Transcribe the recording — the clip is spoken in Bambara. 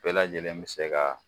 Bɛɛ lajɛlen bɛ se ka